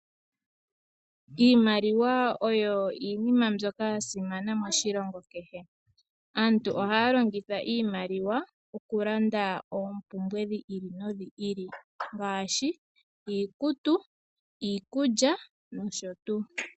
Iimaliwa oyo iinima mbyoka ya simana moshilongo kehe, aantu ohaya longitha iimaliwa oku landa oompumbwe dhi ili nodhi ili, ngaashi iikutu, iikulya nosho tuu.